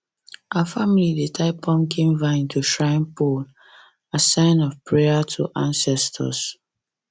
our family dey tie pumpkin vine to shrine pole as sign of prayer to ancestors